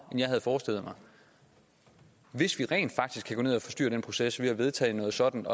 jeg havde forestillet mig hvis vi rent faktisk kan gå ned og forstyrre den proces ved at vedtage noget sådant